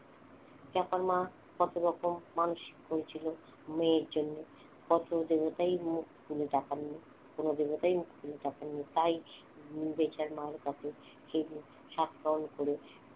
চাপার মা কত রকম মানসিক করেছিল মেয়ের জন্য কত দেবতাই মুখ তুলে তাকাননি কোন দেবতাই মুখ তুলে তাকাইনি তাই বেচার মার কাছে সেদিন সাতকাহন করে